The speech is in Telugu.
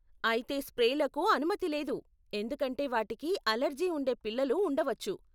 అయితే స్ప్రేలకు అనుమతి లేదు, ఎందుకంటే వాటికి అలెర్జీ ఉండే పిల్లలు ఉండవచ్చు.